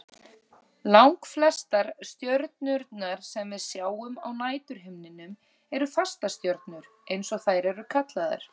Langflestar stjörnurnar sem við sjáum á næturhimninum eru fastastjörnur eins og þær eru kallaðar.